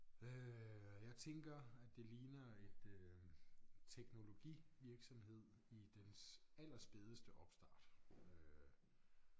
Øh og jeg tænker at det ligner et øh teknologivirksomhed i dens allerspædeste opstart øh